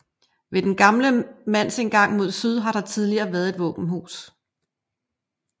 Ved den gamle mandsindgang mod syd har der tidligere været et våbenhus